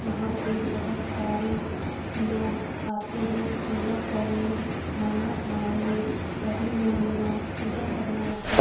यहां पे बोहोत सारे लोग आते हैं। पूजा करने मंनत मांगने सभी लोग यहां पूजा करने आते --